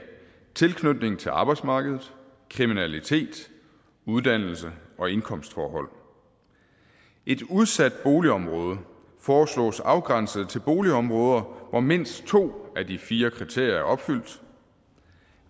tilknytning til arbejdsmarkedet kriminalitet uddannelse og indkomstforhold et udsat boligområde foreslås afgrænset til boligområder hvor mindst to af de fire kriterier er opfyldt